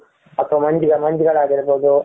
ಅ ಮಂಜುಗಳು ಆಗಿರ ಬಹುದು.